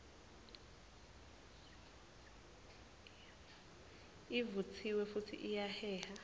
ivutsiwe futsi iyaheha